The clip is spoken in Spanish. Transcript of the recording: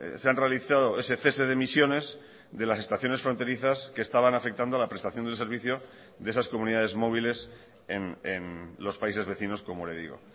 se han realizado ese cese de emisiones de las estaciones fronterizas que estaban afectando a la prestación del servicio de esas comunidades móviles en los países vecinos como le digo